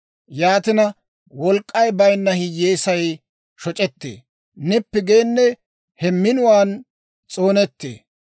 Yaatina, wolk'k'ay bayinna hiyyeesay shoc'etee; nippi geenne he minuwaan s'oonettee.